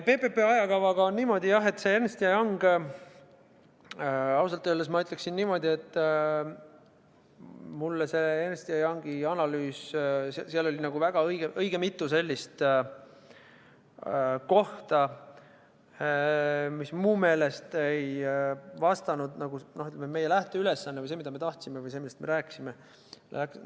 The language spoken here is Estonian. PPP ajakavaga on niimoodi, et see Ernst & Young – ausalt öeldes ma ütleksin niimoodi, et Ernst & Youngi analüüsis oli õige mitu sellist kohta, mis mu meelest ei vastanud meie lähteülesandele või sellele, mida me tahtsime, või sellele, millest me rääkisime.